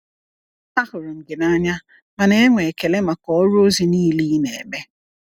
A hụrụ m gị n’anya ma na-enwe ekele maka ọrụ ozi niile ị na-eme.